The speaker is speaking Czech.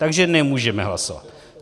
Takže nemůžeme hlasovat.